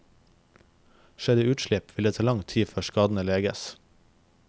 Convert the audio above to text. Skjer det utslipp, vil det ta lang tid før skadene leges.